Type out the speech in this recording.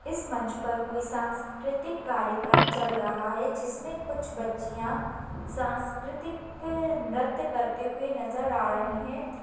इस मंच पर कोई सांस्कृतिक कार्यक्रम चल रहा है। जिसमें कुछ बच्चियां सांस्कृतिक नृत्य करते हुए नजर आ रही है।